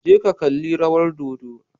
Je ka kalli rawar dodo.